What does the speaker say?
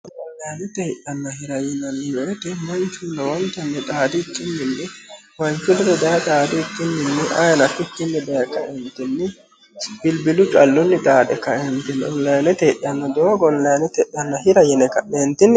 onlinete hidhanna hira yinanni wote manchu horontanni xaadikkinni manchu ledo daye xaadikkinni ayeeno afikkinni bilbilu callunni xaade kaeentinni onlinete hidhanno doogo onlinete hira yine ka'neentinnni